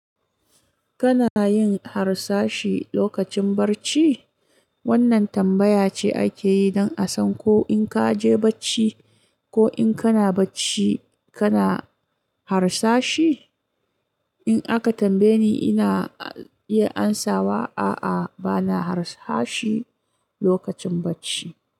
Kana yin harsashi lokacin bacci? Wannan tambaya ce ake yi don a san ko in ka je bacci ko in kana bacci kana harsashi. In aka tambaye ni, ina iya ansawa, a'a, ba na harsashi lokacin bacci.